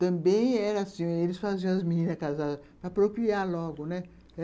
Também era assim, eles faziam as meninas casadas para procriar logo, né?